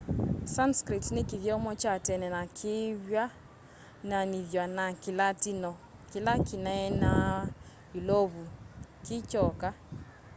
sanskrit ni kithyomo kya tene na kivw'ananithw'a na kilatino kila kinaeenawa yulovu kikyoka